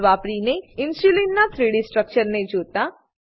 વાપરીને ઇન્સ્યુલીનના 3ડી સ્ટ્રક્ચર ને જોતા